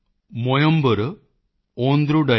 evil ਸੇਪੁ ਮੋਲੀ ਪਧਿਨੇਟੂਡੈਯਾਲ